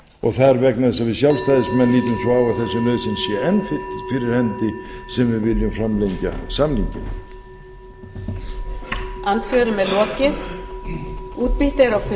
og það er vegna þess að við sjálfstæðismenn lítum svo á að þessi nauðsyn sé enn fyrir hendi sem við viljum framlengja samninginn